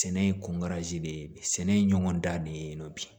Sɛnɛ ye ko de ye sɛnɛ ye ɲɔgɔn dan de ye bi